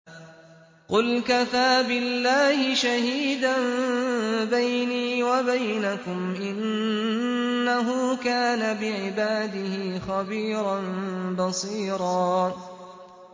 قُلْ كَفَىٰ بِاللَّهِ شَهِيدًا بَيْنِي وَبَيْنَكُمْ ۚ إِنَّهُ كَانَ بِعِبَادِهِ خَبِيرًا بَصِيرًا